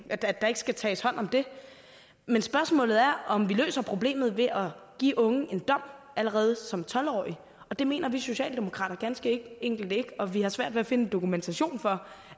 at der ikke skal tages hånd om det men spørgsmålet er om vi løser problemet ved at give unge en dom allerede som tolv årige det mener vi socialdemokrater ganske enkelt ikke og vi har svært ved at finde dokumentation for